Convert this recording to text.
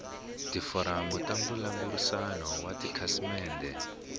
tiforamu ta mbulavurisano wa tikhasimende